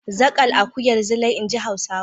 Zaƙal akuyar Zilai, in ji Hausawa.